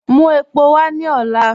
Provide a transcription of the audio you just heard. Mú èpò wà ní òlá.